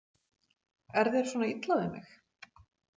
Er þér svona illa við mig?